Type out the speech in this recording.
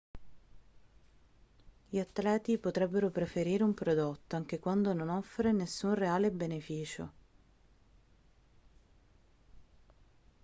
gli atleti potrebbero preferire un prodotto anche quando non offre nessun reale beneficio